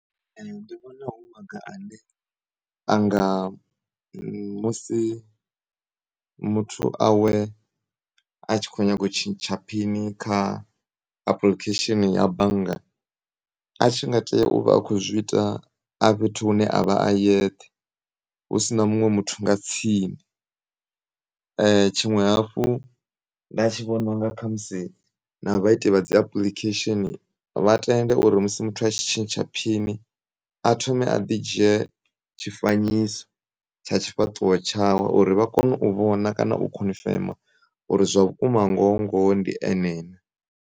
Ndivhona hu maga ane anga musi muthu awe atshi khonyaga utshintsha phini kha apulikhesheni ya bannga, atshi nga tea uvha atshi khouzwiita a fhethu hune avha ayeṱhe husina muṅwe muthu nga tsini. Tshiṅwe hafhu nda tshivhona unga khamusi na vhaiti vhadzi apulikhesheni vha tende uri musi muthu atshi tshintsha phini, athome aḓi dzhiye tshifanyiso tsha tshifhaṱuwo tshawe uri vhakone uvhona kana u khonfema uri zwavhukuma ngoho ngoho ndi ene na.